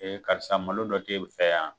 karisa malo dɔ t'e fɛ yan?